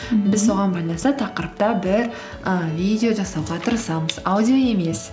біз соған байланысты тақырыпта бір і видео жасауға тырысамыз аудио емес